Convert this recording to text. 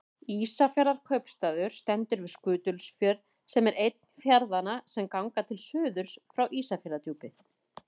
Ísafjarðarkaupstaður stendur við Skutulsfjörð sem er einn fjarðanna sem ganga til suðurs frá Ísafjarðardjúpi.